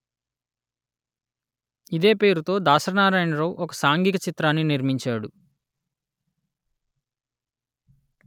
ఇదే పేరుతో దాసరి నారాయణరావు ఒక సాంఘిక చిత్రాన్ని నిర్మించాడు